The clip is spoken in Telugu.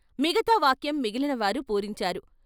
మిగతా వాక్యం మిగిలిన వారు పూరించారు.